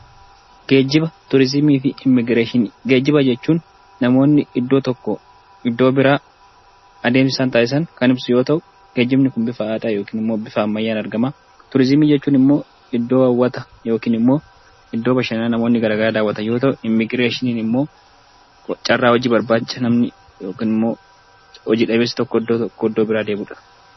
Geejjiba jechuun namoonni iddoo tokkoo iddoo biraa adeemsaan taasisan kan ibsu yoo ta'u, geejjibni kun bifa aadaa yookiiin immoo bifa ammayyaan argama. Turizimii jechuun immoo iddoo hawwata yookiin immoo iddoo bashannana namoonni garaa garaa daawwatan yoo ta'u, Immigireeshiniin ammoo carraa hojii barbaacha namni yookaan ammoo hojii dhabeessi tokko iddoo tokkoo iddoo biraa deemudha.